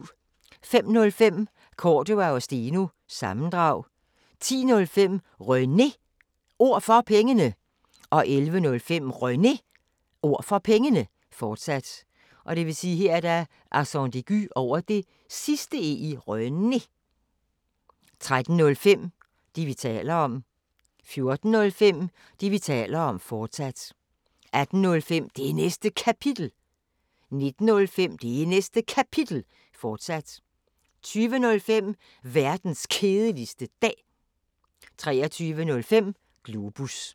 05:05: Cordua & Steno – sammendrag 10:05: René Ord For Pengene 11:05: René Ord For Pengene, fortsat 13:05: Det, vi taler om 14:05: Det, vi taler om, fortsat 18:05: Det Næste Kapitel 19:05: Det Næste Kapitel, fortsat 20:05: Verdens Kedeligste Dag 23:05: Globus